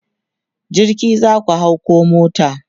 jirgi zaku hau koh mota?